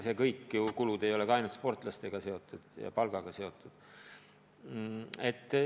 Ja ega kõik kulud ei ole sportlastega seotud, üldse palkadega seotud.